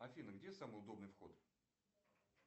афина где самый удобный вход